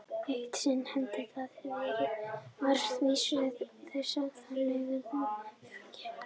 Eitt sinn henti það að farið var með vísu þessa þann veg sem þú gerðir.